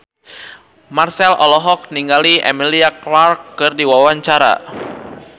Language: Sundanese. Marchell olohok ningali Emilia Clarke keur diwawancara